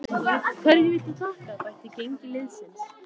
Hverju viltu þakka bætt gengi liðsins?